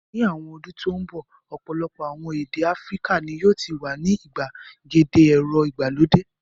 Ní àwọn ọdún tó ń bọ̀ ọ̀pọ̀lọpọ̀ àwọn èdè Áfíríkà ni yóò ti wà ní ìgbàgede ẹ̀rọ ìgbàlódé.